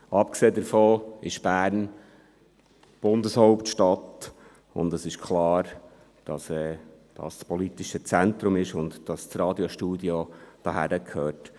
Abgesehen davon ist Bern die Bundeshauptstadt, und es ist klar, dass hier das politische Zentrum liegt und dass das Radiostudio hierhin gehört.